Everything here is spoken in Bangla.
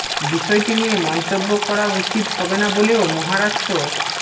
বিষয়টি নিয়ে মন্তব্য করা উচিত হবে না বলেও মহারাষ্ট্র